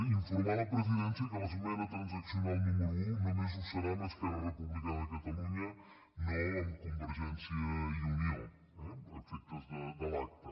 informar la presidència que l’esmena transaccional número un només ho serà amb esquerra republicana de catalunya no amb convergència i unió eh a efectes de l’acta